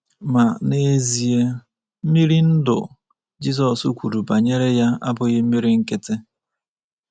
Ma, n’ezie, “ mmiri ndụ” Jizọs kwuru banyere ya abụghị mmiri nkịtị.